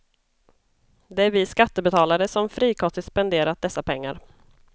Det är vi skattebetalare som frikostigt spenderat dessa pengar.